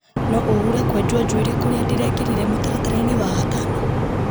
no ũhure kwenjwo njuĩrĩ kũrĩa ndĩrekĩrire mũtaratara-inĩ wa gatano